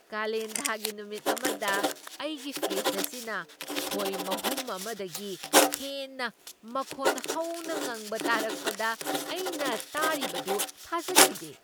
ꯀꯥꯂꯦꯟꯊꯥꯒꯤ ꯅꯨꯃꯤꯠ ꯑꯃꯗ ꯑꯩꯒꯤ ꯐ꯭ꯔꯤꯖ ꯑꯁꯤꯅ ꯈꯣꯏ ꯃꯍꯨꯝ ꯑꯃꯗꯒꯤ ꯍꯦꯟꯅ ꯃꯈꯣꯟ ꯍꯧꯅ ꯉꯪꯕ ꯇꯥꯔꯛꯄꯗ ꯑꯩꯅ ꯇꯥꯔꯤꯕꯗꯨ ꯊꯥꯖꯈꯤꯗꯦ!